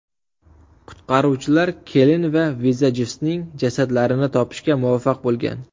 Qutqaruvchilar kelin va vizajistning jasadlarini topishga muvaffaq bo‘lgan.